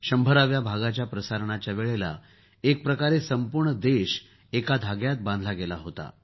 शंभराव्या भागाच्या प्रसारणाच्या वेळेला एक प्रकारे संपूर्ण देश एका धाग्यात बांधला गेला होता